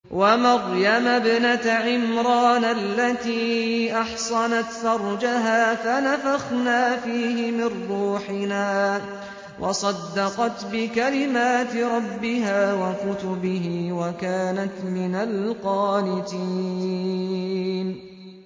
وَمَرْيَمَ ابْنَتَ عِمْرَانَ الَّتِي أَحْصَنَتْ فَرْجَهَا فَنَفَخْنَا فِيهِ مِن رُّوحِنَا وَصَدَّقَتْ بِكَلِمَاتِ رَبِّهَا وَكُتُبِهِ وَكَانَتْ مِنَ الْقَانِتِينَ